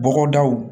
Bɔgɔdaw